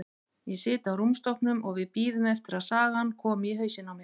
Ég sit á rúmstokknum og við bíðum eftir að sagan komi í hausinn á mér.